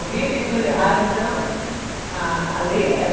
Alguém fez coisa errada, então a a lei era...